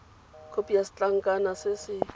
khopi ya setlankana se se